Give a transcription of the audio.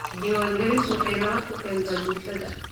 Diiwaangelintu waxay nabad ku keentaa bulshada.